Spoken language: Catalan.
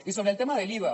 i sobre el tema de l’iva